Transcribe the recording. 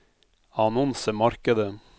annonsemarkedet